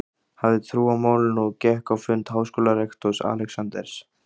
hafði trú á málinu og gekk á fund háskólarektors, Alexanders